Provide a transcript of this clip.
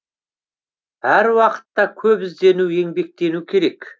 әр уақытта көп іздену еңбектену керек